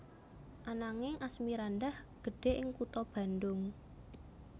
Ananging Asmirandah gedhe ing kutha Bandung